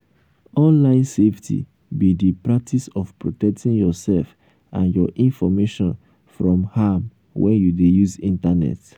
online safety be di practice of protecting yourself and your information from harm when you dey use internet.